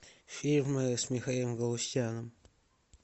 фильмы с михаилом галустяном